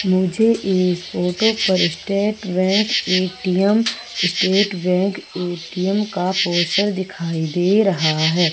मुझे इस फोटो पर State Bank ATM State Bank ATM का पोस्टर दिखाई दे रहा है।